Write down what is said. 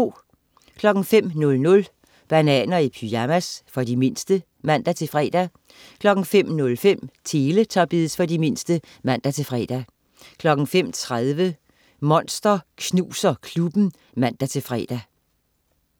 05.00 Bananer i pyjamas. For de mindste (man-fre) 05.05 Teletubbies. For de mindste (man-fre) 05.30 Monster Knuser Klubben (man-fre)